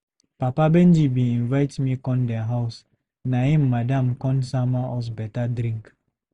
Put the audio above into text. Papa Benji bin invite me come dem house. Na im Madam come sama us better drink.